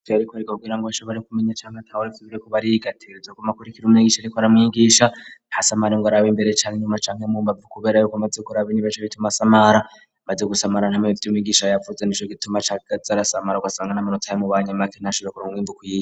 Vyari bigoye kugira ngo nshobore kumenya abariko bariga, ategerezwa kuguma ariko arakurikira umwigisha ariko aramwigisha , ntasamare ngo arabe imbere canke inyuma canke mu mbavu kubera yuko amaze kuraba inyuma aca asamara. Amaze gusamara ntoshobora kumenya ivyo umwigisha yavuze, nico gituma acaza arasamara ugasanga namanota yamubanye make ntashobore kuronka umwimbu ukwiye.